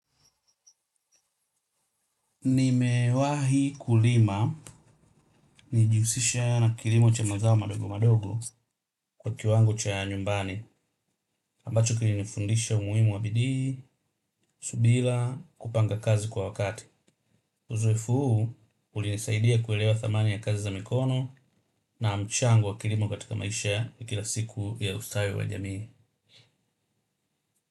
Nime wahi kulima nilijihusisha na kilimo cha mazao madogo madogo kwa kiwango cha nyumbani ambacho kilinifundisha umuhimu wa bidii, subira, kupanga kazi kwa wakati. Uzoevu huu ulinisaidia kuelewa dhamani ya kazi za mikono na mchango wa kilimo katika maisha ya kila siku ya ustawi wa jamii.